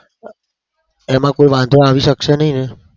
એમાં કોઈ વાંધો આવી શકશે નહિ ને?